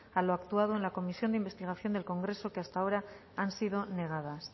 a lo actuado en la comisión de investigación del congreso que hasta ahora han sido negadas